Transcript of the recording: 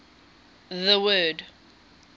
the word